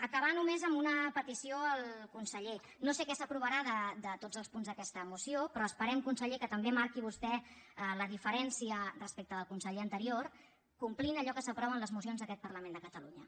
acabar només amb una petició al conseller no sé que s’aprovarà de tots els punts d’aquesta moció però esperem conseller que també marqui vostè la diferència respecte del conseller anterior complint allò que s’aprova en les mocions d’aquest parlament de catalunya